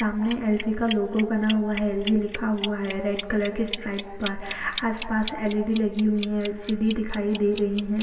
सामने L G logo बना हुआ है एल जी लिखा हुआ है रेड कलर की स्ट्राइप् पर आस पास एल ई डी लगी हुई है एल सी डी दिखाई दे रही हैं।